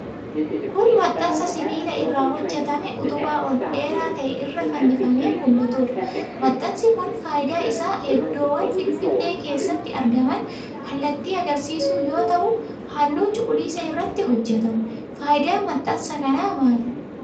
Kun, maxxansa sibiila irraa hojjatamee utubaa ol dheeraa ta'e irra fannifamee mul'atuudha. Maxxansi kun faayidaan isaa iddoowwan finfinnee keessatti argaman kallattii agarsiisuu yoo ta'u, haalluu cuquliisa irratti hojjatame. Faayidaan maxxansa kanaa maali?